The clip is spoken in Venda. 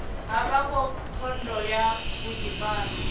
havho kha khoudu ya vhudifari